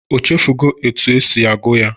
O chefugo otu esi agụ ya?